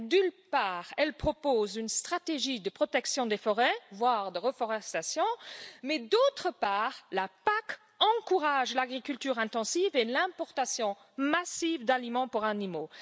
D'une part, elle propose une stratégie de protection des forêts, voire de reforestation, mais, d'autre part, la PAC encourage l'agriculture intensive et l'importation massive d'aliments pour animaux.